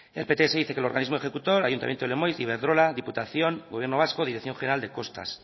el pts dice que el organismo ejecutar ayuntamiento de lemoiz iberdrola diputación gobierno vasco dirección general de costas